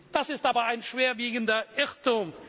Das ist aber ein schwerwiegender Irrtum.